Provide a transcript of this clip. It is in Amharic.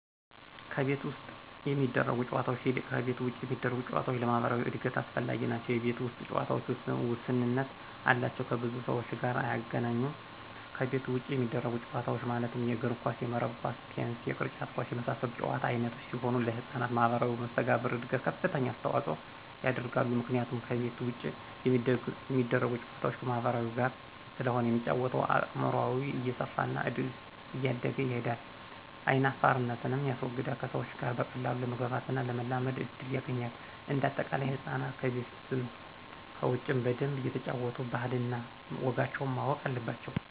ከቤት ውስጥ ከሚደረጉ ጨዎታዎች ይልቅ ከቤት ውጭ የሚደረጉ ጨዎታዎች ለማህበራዊ እድገት አስፈላጊዎች ናቸው የቤት ውስጥ ጨዎታዎች ውስንነት አላቸው ከብዙ ሰዎች ጋር አያገናኙም ከቤት ውጭ የሚደረጉት ጨዎታዎች ማለትም የእግር ኳስ :የመረብ ኳስ :ቴንስ የቅርጫት ኳስ የመሳሰሉት የጨዎታ አይነቶች ሲሆኑ ለህጻናት ማህበራዊ መሰተጋብር እድገት ከፍተኛ አስተዋጽኦ ያደርጋሉ ምክንያቱም ከቤት ውጭ የሚደረጉ ጨዋታዎች ከማህበረሰቡ ጋር ስለሆነ የሚጫወተው አእምሮው እየሰፋና እያደገ ይሄዳል አይናፋርነትንም ያስወግዳል ከሰዎች ጋር በቀላሉ ለመግባባትና ለመላመድ እድል ያገኛል። እንደ አጠቃላይ ህፃናት ከቤትም ከውጭም በደንብ እየተጫወቱ ባህል እነ ወጋቸውን ማወቅ አለባቸው